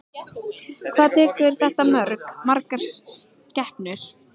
Hvað tekur þetta mörg, margar skepnur?